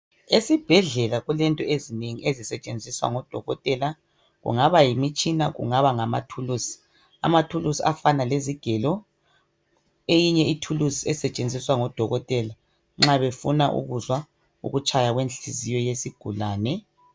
Esibhedlela kulento ezinengi ezisetshenziswa ngodokotela kungaba yimitshina kungaba ngamathulusi, amathulusi afana lezigelo eyinye ithulusi esetshenziswa ngodokotela nxa befuna ukuzwa ukutshaya kwenhliziyo yesigulane.